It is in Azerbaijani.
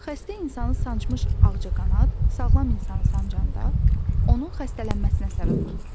Xəstə insanı sancmış ağcaqanad sağlam insanı sancanda onun xəstələnməsinə səbəb olur.